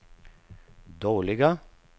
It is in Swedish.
dåliga